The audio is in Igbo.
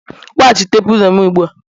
Weghachite pilo m ugbu a!